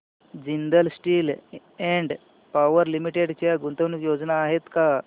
Jindal steel and power limited च्या गुंतवणूक योजना आहेत का